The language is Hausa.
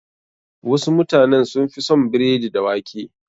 Wasu mutanen sun fi son biredi da wake.